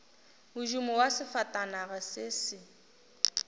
modumo wa sefatanaga se se